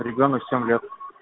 ребёнок семь лет